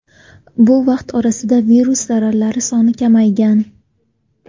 Bu vaqt orasida virus zarralari soni kamaygan.